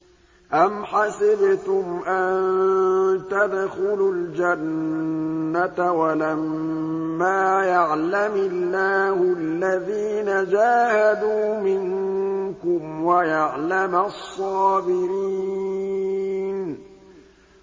أَمْ حَسِبْتُمْ أَن تَدْخُلُوا الْجَنَّةَ وَلَمَّا يَعْلَمِ اللَّهُ الَّذِينَ جَاهَدُوا مِنكُمْ وَيَعْلَمَ الصَّابِرِينَ